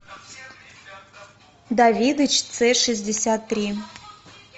давидыч ц шестьдесят три